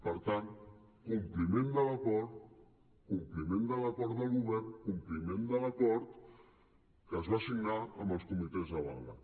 per tant compliment de l’acord compliment de l’acord del govern compliment de l’acord que es va signar amb els comitès de vaga